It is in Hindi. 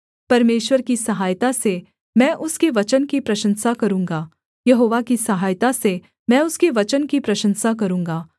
परमेश्वर की सहायता से मैं उसके वचन की प्रशंसा करूँगा यहोवा की सहायता से मैं उसके वचन की प्रशंसा करूँगा